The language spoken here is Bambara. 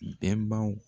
Bɛnbaw